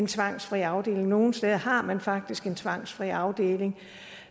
tvangsfri afdeling og nogle steder har man faktisk en tvangsfri afdeling